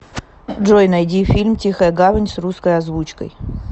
джой найди фильм тихая гавань с русской озвучкой